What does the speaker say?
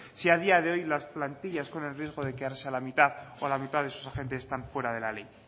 si a día de hoy las plantillas corren el riesgo de quedarse a la mitad o la mitad de sus agentes están fuera de la ley